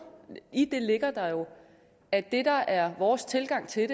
i det ligger der jo at det der er vores tilgang til